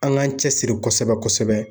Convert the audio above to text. An k'an cɛsiri kosɛbɛ kosɛbɛ